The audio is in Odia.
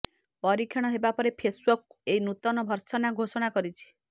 ପରୀକ୍ଷଣ ହେବା ପରେ ଫେସ୍ବୁକ ଏହି ନୂତନ ଭର୍ସନ୍ର ଘୋଷଣା କରିଛି